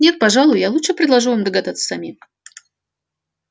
нет пожалуй я лучше предложу вам догадаться самим